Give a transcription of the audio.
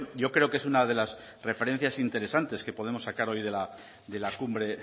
yo creo que es una de las referencias interesantes que podemos sacar hoy de la cumbre